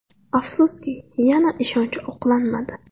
Afsuski, yana ishonch oqlanmadi.